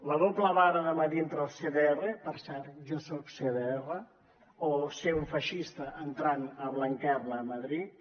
la doble vara de mesurar entre els cdr per cert jo soc cdr o ser un feixista entrant a blanquerna a madrid